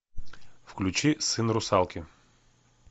включи сын русалки